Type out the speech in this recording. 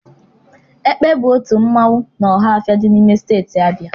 Ekpe bụ otu mmanwụ n'Ọhafịa dị n'ime steeti Abịa